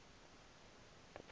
lesser antilles